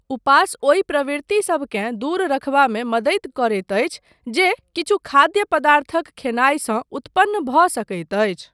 उपास ओहि प्रवृत्तिसबकेँ दूर रखबामे मदति करैत अछि जे किछु खाद्य पदार्थक खयनायसँ उत्पन्न भऽ सकैत अछि।